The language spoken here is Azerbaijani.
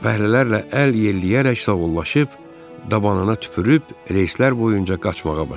Fəhlələrlə əl yelləyərək sağollaşıb, dabanına tüpürüb, reyslər boyunca qaçmağa başladı.